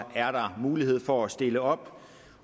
er mulighed for at stille op